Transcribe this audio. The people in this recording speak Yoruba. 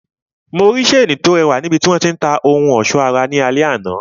Mo rí seeni to rẹwà ni ibiti wọn ti ń ta ohun ọsọ ara ní alẹ àná.